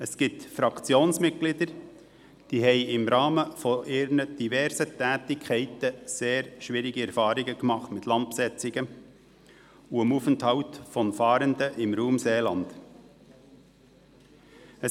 Es gibt Fraktionsmitglieder, die im Rahmen ihrer diversen Tätigkeiten sehr schwierige Erfahrungen mit Landbesetzungen und dem Aufenthalt von Fahrenden im Raum Seeland gemacht haben.